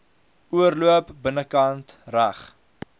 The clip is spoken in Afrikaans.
oorloop binnekant reg